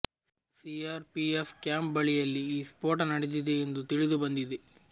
CR PF camp ಬಳಿಯಲ್ಲಿ ಈ ಸ್ಪೋಟ ನಡೆದಿದೆ ಎಂದು ತಿಳಿದುಬಂದಿದೆ